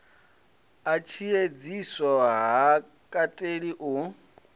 a tshiedziso ha kateli u